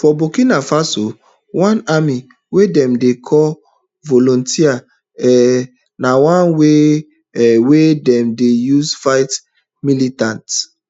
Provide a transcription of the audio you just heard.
for burkina faso one army wey dem dey call volunteer um na one way um wey dem dey use fight militants